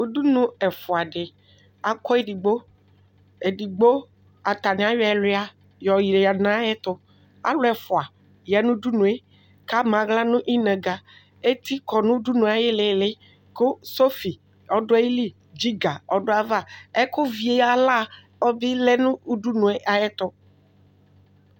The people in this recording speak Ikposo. ʋdʋnʋɛƒʋa di, akɔ ɛdigbɔ ɛdigbɔ atani ayɔ ɛwia yɔ yɛdʋ nʋ ayɛtʋ, alʋ ɛƒʋa yanʋ ʋdʋnʋɛ kʋ ama ala nʋ inɛga, ɛti kɔnʋ ʋdʋnʋɛ ayilili kʋ sɔƒi ɔdʋ ayili, piga ɔdʋ aɣa, ɛkʋ vi ala bi lɛnʋ ʋdʋnʋɛ ayɛtʋ